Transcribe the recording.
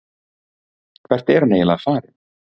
Hvert er hann eiginlega farinn?